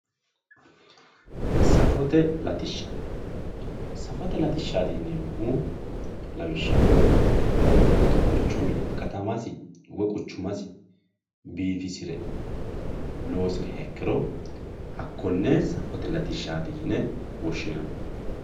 safate latishsha safote latishshaati yineemmohu lawishshaho mittu quchumi katamasi woy quchumasi biifisire loosiriha ikkiro hakkonne safote latishshaati yine woshshinanni.